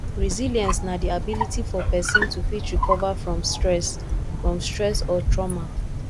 resilience na di ability for person to fit recover from stress from stress or trauma